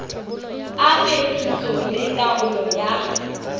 a phetiso le taolo ya